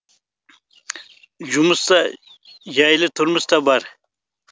жұмыс та жәйлі тұрмыс та бар